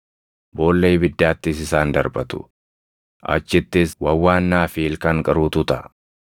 boolla ibiddaattis isaan darbatu; achittis wawwaannaa fi ilkaan qaruutu taʼa.”